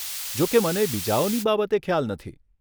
જોકે મને બીજાઓની બાબતે ખ્યાલ નથી.